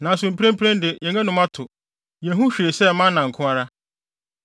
Nanso mprempren de, yɛn anom ato; yenhu hwee sɛ mana nko ara.”